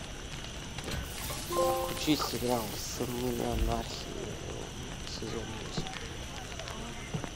включи сериал сыны анархии сезон восемь